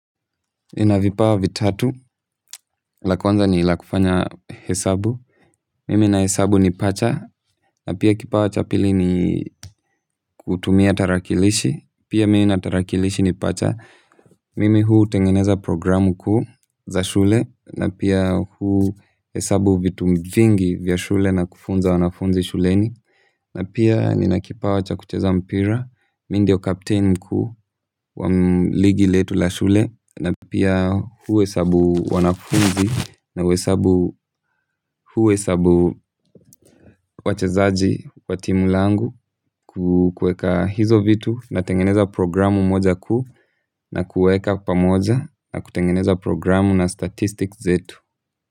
Nina vipawa vitatu, la kuanza ni la kufanya hesabu, mimi na hesabu ni pacha, na pia kipawa cha pili ni kutumia tarakilishi, pia mimi na tarakilishi ni pacha, mimi hutengeneza programu kuu za shule, na pia huhesabu vitu vingi vya shule na kufunza wanafunzi shuleni, na pia nina kipawa cha kucheza mpira, mi ndio kapteini mkuu wa ligi letu la shule, na pia huhesabu wanafunzi, na huhesabu wachezaji wa timu langu kuweka hizo vitu, natengeneza programu moja kuu na kuweka pamoja na kutengeneza programu na statistics zetu.